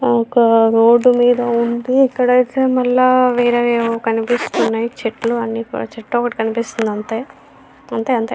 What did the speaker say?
ఒక రోడ్డు మీద ఉంది అక్కడ అయితే మళ్ళా వేరే ఏవో కనిపిస్తునాయి చెట్లు అన్నీ చెట్టు ఒకటి కనిపిస్తుంది అంతే. అంతె అంతే.